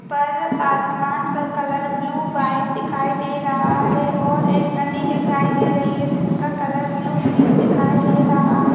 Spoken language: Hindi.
पर आसमान का कलर ब्लू वाइट दिखाई दे रहा है और एक नदी दिखाई दे रही है जिसका कलर ब्लू ग्रीन दिखाई दे रहा है।